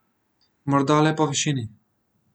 Morda le po višini.